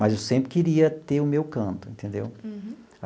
Mas eu sempre queria ter o meu canto, entendeu? Uhum.